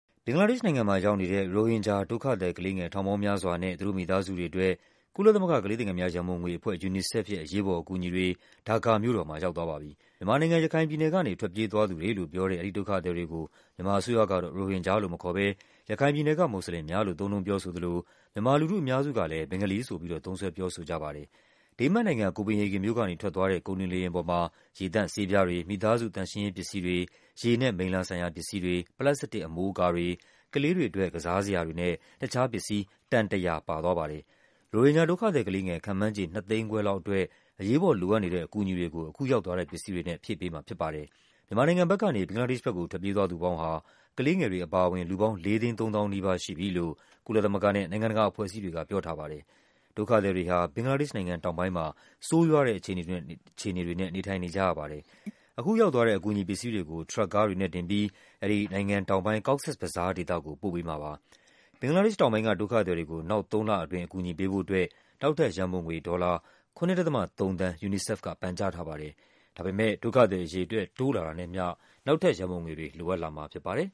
ဘင်္ဂလားဒေ့ရှ်နိုင်ငံမှာ ရောက်နေတဲ့ ရိုဟင်ဂျာ ဒုက္ခသည်ကလေးငယ် ထောင်ပေါင်းများစွာနဲ့ သူတို့မိသားစုတွေအတွက် ကုလ သမဂ္ဂ ကလေးသူငယ်များ ရန်ပုံငွေအဖွဲ့ UNICEF ရဲ့ အရေးပေါ်အကူအညီတွေ ဒါကာမြို့တော်မှာရောက်သွားပါပြီ။ မြန်မာနိုင်ငံ၊ ရခိုင်ပြည်နယ်ကနေ ထွက်ပြေးသွားသူတွေလို့ပြောတဲ့ အဲဒီဒုက္ခသည်တွေကို မြန်မာအစိုးရက ရိုဟင်ဂျာလို့မခေါ်ဘဲ ရခိုင်ပြည်နယ်က မွတ်စလင်များလို့ သုံးနှုန်းပြောဆိုသလို မြန်မာလူထုအများစုကလဲ ဘင်္ဂါလီဆိုပြီး သုံးစွဲ ပြောဆိုကြပါတယ်။ ဒိန်းမတ်နိုင်ငံ၊ ကိုပင်ဟေဂင်မြို့ကနေ ထွက်သွားတဲ့ ကုန်တင်လေယာဉ်ပေါ်မှာ ရေသန့်ဆေးပြားတွေ၊ မိသားစု သန့်ရှင်းရေး ပစ္စည်းတွေ၊ ရေနဲ့မိလ္လာဆိုင်ရာပစ္စည်းတွေ၊ ပလတ်စတစ်အမိုးအကာတွေ၊ ကလေးတွေအတွက် ကစားစရာတွေနဲ့ တခြားပစ္စည်း တန် ၁၀၀ ပါသွားပါတယ်။ ရိုဟင်ဂျာ ဒုက္ခသည်ကလေးငယ် ခန့်မှန်းခြေ ၂ သိန်းခွဲလောက်အတွက် အရေးပေါ်လိုအပ်နေတဲ့ အကူအညီတွေကို အခုရောက် သွားတဲ့ပစ္စည်းတွေနဲ့ ဖြည့်ပေးမှာဖြစ်ပါတယ်။ မြန်မာနိုင်ငံဘက်ကနေ ဘင်္ဂလားဒေ့ရှ်ဘက်ကို ထွက်ပြေးသွားသူပေါင်းဟာ ကလေး ငယ်တွေအပါဝင် လူပေါင်း ၄ သိန်း ၃ သောင်းနီးပါး ရှိပြီလို့ ကုလသမဂ္ဂနဲ့ နို်င်ငံတကာအဖွဲ့အစည်းတွေက ပြောထားပါတယ်။ ဒုက္ခ သည်တွေဟာ ဘင်္ဂလားဒေ့ရှ်နိုင်ငံတောင်ပိုင်းမှာ ဆိုးရွားတဲ့အခြေအနေတွေနဲ့ နေထိုင်နေကြရပါတယ်။ အခုရောက်သွားတဲ့ အကူအညီပစ္စည်းတွေကို ထရပ်ကားတွေနဲ့တင်ပြီး အဲဒီ နိုင်ငံတောင်ပိုင်း Cox’s Bazar ဒေသကို ပို့ပေးမှာပါ။ ဘင်္ဂလားဒေ့ရှ်တောင်ပိုင်းက ဒုက္ခသည်တွေကို နောက်သုံးလအတွင်း အကူအညီပေးဖို့အတွက် နောက်ထပ်ရန်ပုံငွေ ဒေါ်လာ ၇.၃ သန်း UNICEF က ပန်ကြားထားပါတယ်။ ဒါပေမဲ့ ဒုက္ခသည်အရေအတွက် တိုးလာတာနဲ့အမျှ နောက်ထပ်ရန်ပုံငွေတွေ လိုအပ်လာ မှာဖြစ်ပါတယ်။